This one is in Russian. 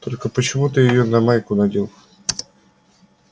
только почему ты её на майку надел